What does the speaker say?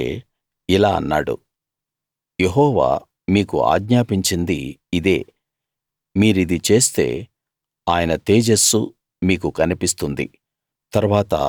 అప్పుడు మోషే ఇలా అన్నాడు యెహోవా మీకు ఆజ్ఞాపించింది ఇదే మీరిది చేస్తే ఆయన తేజస్సు మీకు కనిపిస్తుంది